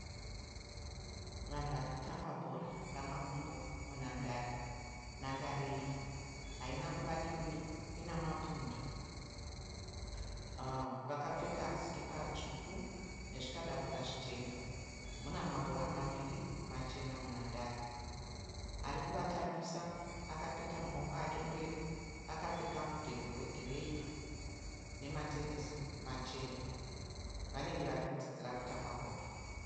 Vanhu vari kutamba bhora ramakumbo munhandare. Nhandare iyi haina kuvakirirwa ina mapundo. Vakapfeka sikipa tsvuku nezvikadabura zvichena. Muna mabhora maviri machena. munhandare. Ari kuvatambisa akapeta maoko ake mberi akapfeka mudhebhe wegireyi nematenesi machena. Vanenge vari kudzidzira kutamba bhora.